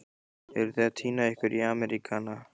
Eruð þið að týna ykkur í Ameríkana?